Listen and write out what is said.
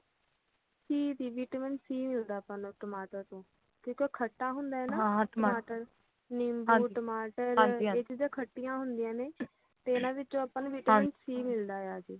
ਸੀ vitamin C ਮਿਲਦਾ ਆਪਾਂ ਨੂੰ ਟਮਾਟਰ ਤੋਂ ਆ ਉਹ ਖੱਟਾ ਹੁੰਦਾ ਆ ਨਾ ਟਮਾਟਰ ਨਿੱਬੂ ,ਟਮਾਟਰ ਇਹ ਚੀਜ਼ਾਂ ਖੱਟੀਆਂ ਹੁੰਦੀਆਂ ਨੇ ਤੇ ਇਹਨਾਂ ਵਿੱਚੋ ਆਪਾਂ ਨੂੰ ਵਿਟਾਮਿਨ ਸੀ ਮਿਲਦਾ ਆ